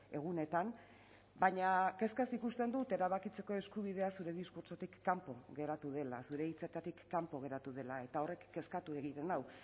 egunetan baina kezkaz ikusten dut erabakitzeko eskubidea zure diskurtsotik kanpo geratu dela zure hitzetatik kanpo geratu dela eta horrek kezkatu egiten nau